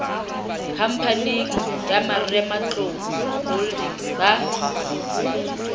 khamphaneng ya marematlou holdings ba